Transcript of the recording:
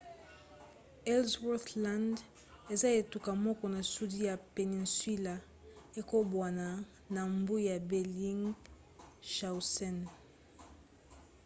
ellsworth land eza etuka moko na sudi ya peninsula ekabwana na mbu ya bellingshausen